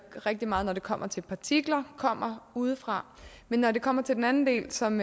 rigtig meget når det kommer til partikler kommer udefra når det kommer til den anden del som